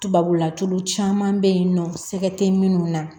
Tubabula tulu caman bɛ yen nɔ sɛgɛ tɛ minnu na